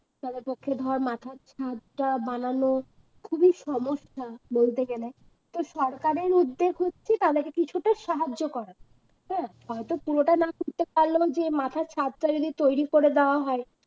তাদের পক্ষে ধরে মাথার ছাদ তা বানানো খুবই সমস্যা বলতে গেলে তো সরকারের উদ্যোগ হচ্ছে তাদেরকে কিছুটা সাহায্য করা হ্যাঁ হয়তো পুরোটা না করতে পারলেও যে মাথার ছাদ টা যদি তৈরি করে দেওয়া হয়